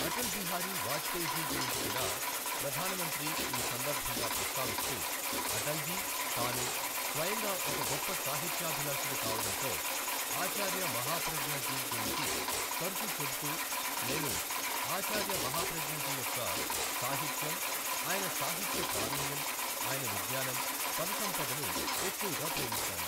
అటల్ బిహారీ వాజ్పేయిజీ గురించి కూడా ప్రధానమంత్రి ఈ సందర్భంగా ప్రస్తావిస్తూ, అటల్ జీ తాను స్వయంగా ఒక గొప్ప సాహిత్యాభిలాషుడు కావడంతో, ఆచార్య మహాప్రజ్ఞ జీ గురించి తరచు చెబుతూ నేను ఆచార్య మహాప్రజ్ఞ జీ యొక్క సాహిత్యం, ఆయన సాహిత్య ప్రావీణ్యం, ఆయన విజ్ఞానం, పద సంపదను ఎక్కువగా ప్రేమిస్తాను.